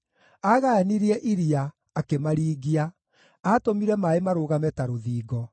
Aagayanirie iria, akĩmaringia; aatũmire maaĩ marũgame ta rũthingo.